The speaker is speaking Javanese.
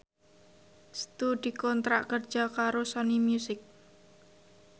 Setu dikontrak kerja karo Sony Music